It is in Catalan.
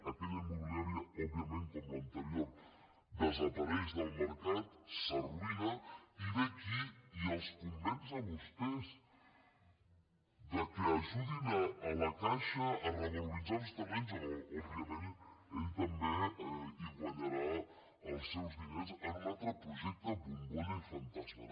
aquella immobiliària òbviament com l’anterior desapareix del mercat s’arruïna i ve aquí i els convenç a vostès que ajudin a la caixa a revaloritzar uns terrenys a on òbviament ell també hi guanyarà els seus diners en un altre projecte bombolla i fantasma